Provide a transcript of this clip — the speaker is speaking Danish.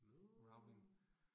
Nåh